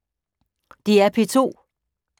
DR P2